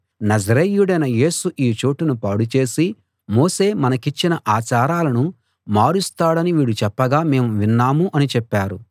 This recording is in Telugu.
నజరేయుడైన యేసు ఈ చోటును పాడుచేసి మోషే మనకిచ్చిన ఆచారాలను మారుస్తాడని వీడు చెప్పగా మేము విన్నాము అని చెప్పారు